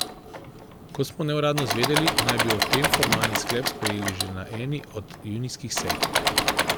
Kot smo neuradno izvedeli, naj bi o tem formalni sklep sprejeli že na eni od junijskih sej.